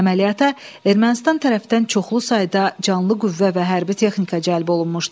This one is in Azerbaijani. Əməliyyata Ermənistan tərəfdən çoxlu sayda canlı qüvvə və hərbi texnika cəlb olunmuşdu.